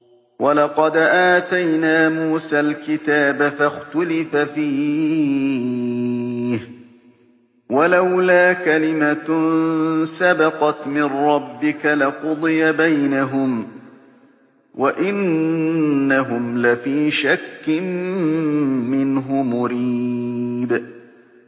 وَلَقَدْ آتَيْنَا مُوسَى الْكِتَابَ فَاخْتُلِفَ فِيهِ ۚ وَلَوْلَا كَلِمَةٌ سَبَقَتْ مِن رَّبِّكَ لَقُضِيَ بَيْنَهُمْ ۚ وَإِنَّهُمْ لَفِي شَكٍّ مِّنْهُ مُرِيبٍ